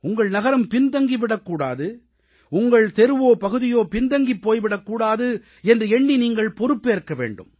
உங்கள் நகரம் பின்தங்கிவிடக் கூடாது உங்கள் தெருவோ பகுதியோ பின்தங்கிப் போய்விடக் கூடாது என்று எண்ணி நீங்கள் பொறுப்பேற்க வேண்டும்